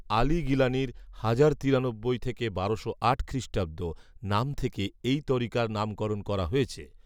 আলী গিলানীর হাজার তিরানব্বই থেকে বারোশো আট খ্রিষ্টাব্দ, নাম থেকে এই তরিকার নামকরণ করা হয়েছে